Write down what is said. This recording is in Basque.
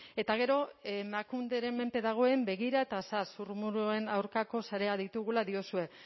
eta gero emakunderen menpe dagoen begira zurrumurruen aurkako sareak ditugula diozue